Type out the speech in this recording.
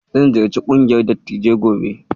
Zan ziyarci ƙungiyar Dattijai gobe